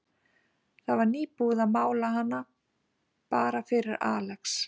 Það var nýbúið að mála hana, bara fyrir Alex.